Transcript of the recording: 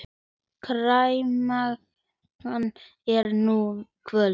Kær mágkona er nú kvödd.